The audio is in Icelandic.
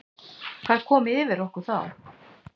Hvað kom yfir okkur þá?